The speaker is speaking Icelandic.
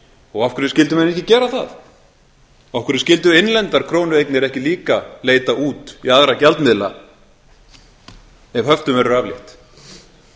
og af hverju skyldu menn ekki gera það af hverju skyldu innlendar krónueignir ekki líka leita út í aðra gjaldmiðla ef höftum verður aflétt